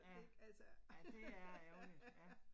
Ja. Ja, det er ærgerligt ja